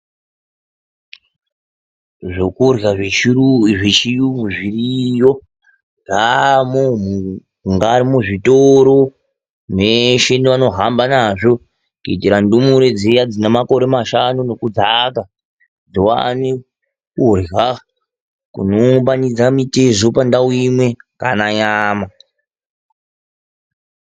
Zvokurwa zvechirungu zviriyo mungava muzvitoro meshe nevano hamba nazvo kuitira ndumure dziya dzenemakore mashanu nekudzika kuti vawane kurya kuno umbanidza mitezo panguva imwe, kana nyama .